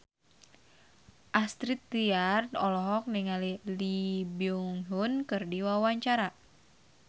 Astrid Tiar olohok ningali Lee Byung Hun keur diwawancara